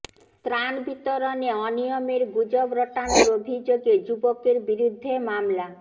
ত্রাণ বিতরণে অনিয়মের গুজব রটানোর অভিযোগে যুবকের বিরুদ্ধে মামলা